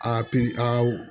A pi a